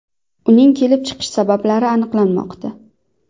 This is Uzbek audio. Uning kelib chiqish sabablari aniqlanmoqda.